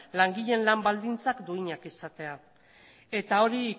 langileen lan baldintzak duinak izatea eta hori